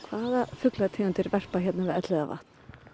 fuglategundir verpa hérna við Elliðavatn